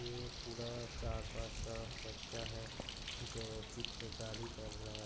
ये एक पूरा चार पांच का बच्चा है जो चित्रकारी कर रहा है।